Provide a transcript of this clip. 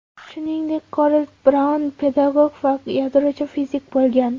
Shuningdek, Garold Braun pedagog va yadrochi fizik bo‘lgan.